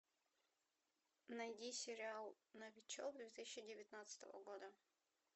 найди сериал новичок две тысячи девятнадцатого года